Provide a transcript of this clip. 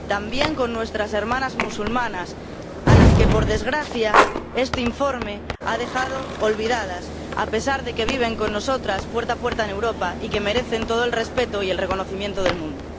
también con nuestras hermanas musulmanas, a las que, por desgracia, este informe ha dejado olvidadas, a pesar de que viven con nosotras, puerta con puerta, en Europa y que merecen todo el respeto y el reconocimiento del mundo.